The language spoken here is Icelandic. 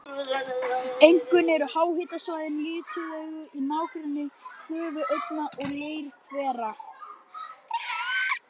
Einkum eru háhitasvæðin litauðug í nágrenni gufuaugna og leirhvera.